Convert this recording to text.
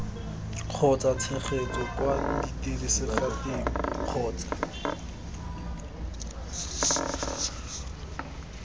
kgotsa tshegetso kwa diteraseteng kgotsa